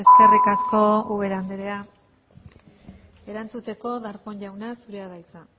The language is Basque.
eskerrik asko ubera andrea erantzuteko darpón jauna zurea da hitza